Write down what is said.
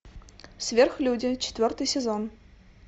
сверхлюди четвертый сезон